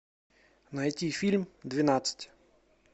найти фильм двенадцать